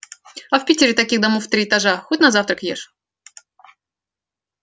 а в питере таких домов в три этажа хоть на завтрак ешь